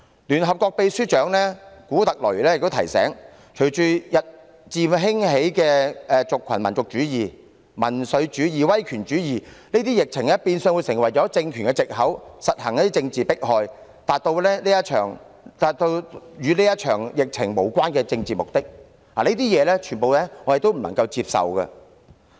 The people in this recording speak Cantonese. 聯合國秘書長古特雷斯亦提醒，隨着日漸興起的族群民族主義、民粹主義及威權主義，疫情變相會成為政權實行政治迫害的藉口，從而達到與這場疫情無關的政治目的，以上種種均是我們所不能接受。